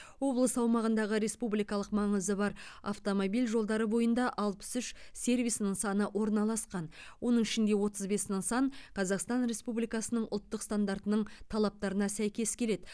облыс аумағындағы республикалық маңызы бар автомобиль жолдары бойында алпыс үш сервис нысаны орналасқан оның ішінде отыз бес нысан қазақстан республикасының ұлттық стандартының талаптарына сәйкес келеді